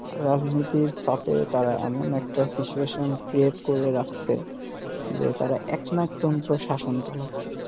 রাজনীতির পাপে তারা এমন একটা situation create করে রাখসে যে তারা একনায়কতন্ত্র শাসন চালাচ্ছে